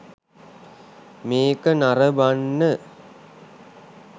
මේක නරඹන්න